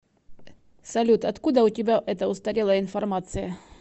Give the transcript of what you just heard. салют откуда у тебя эта устарелая информация